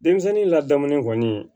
Denmisɛnnin ladamulen kɔni